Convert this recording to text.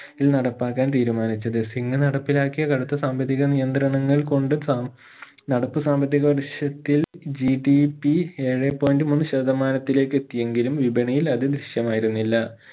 ഇൽ നടപ്പാക്കാൻ തീരുമാനിച്ചത് സിംഗ് നടപ്പിലാക്കിയ കടുത്ത സാമ്പത്തിക നിയന്ത്രണകൾ കൊണ്ട് സ നടപ്പ് സാമ്പത്തിക വർഷത്തിൽ GDP ഏഴേ point മൂന്ന് ശതമാനത്തിലേക്ക് എത്തിയെങ്കിലും വിപണിയിൽ അത് ദൃശ്യമായിരുന്നില്ല